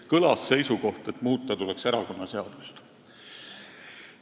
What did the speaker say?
Kõlas seisukoht, et muuta tuleks erakonnaseadust.